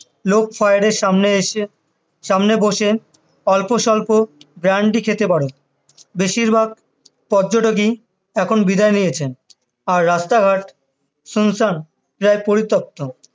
fire এর সামনে এসে সামনে বসে অল্প স্বল্প brandi খেতে পারো বেশিরভাগ পর্যটকই এখন বিদায় নিয়েছে আর রাস্তা ঘাট শুনসান প্রায় পরিত্যক্ত